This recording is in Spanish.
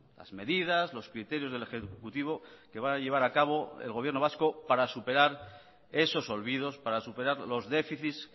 las medidas los criterios del ejecutivo que va a llevar a cabo el gobierno vasco para superar esos olvidos para superar los déficits